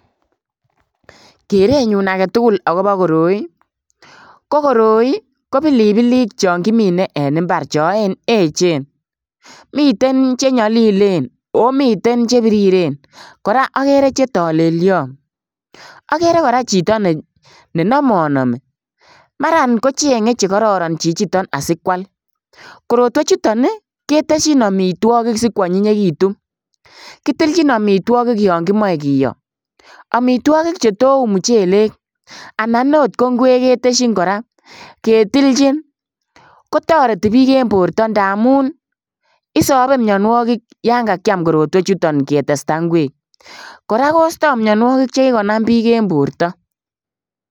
Kerenyun agetugul akobo koroi, kokoroi ko pilipilik chon kimine en imbar choechen, miten chenyolilen oo miten chebiriren koraa okere chetolelion, okere koraa chito nenomonomi maran kochenge chekororon asikwal korotwechuton ii keteshin omitwogik sikwonyinyekitun, kitilchin omitwogik yon kimoche kiyo omitwogik chetou muchelek anan oo ko inkwek keteshin koraa ketilchin kotoreti bik en borto ndamun isobe mionuokik en borto yon kakiam korotwechuton ketestaa inkwek koraa kosto mionuokik chekikonam bik en borto.